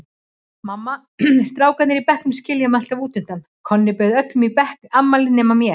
Mamma, strákarnir í bekknum skilja mig alltaf útundan, Konni bauð öllum í afmælið nema mér.